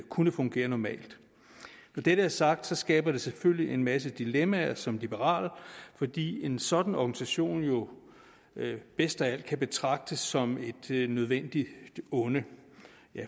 kunne fungere normalt når dette er sagt skaber det selvfølgelig en masse dilemmaer som liberal fordi en sådan organisation jo bedst af alt kan betragtes som et nødvendigt onde